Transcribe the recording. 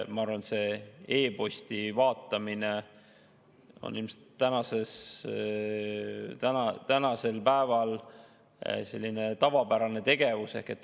Ma arvan, et e-posti vaatamine on tänapäeval tavapärane tegevus.